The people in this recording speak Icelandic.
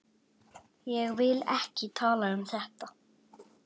Ég vil ekki tala um þetta.